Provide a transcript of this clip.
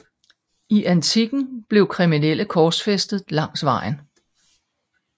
I antikken blev kriminelle korsfæstet langs vejen